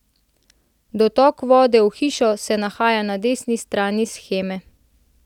Dotok vode v hišo se nahaja na desni strani sheme.